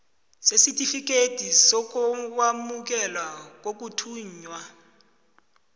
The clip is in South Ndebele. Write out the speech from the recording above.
sesitifikethi sokwamukeleka kokuthuthwa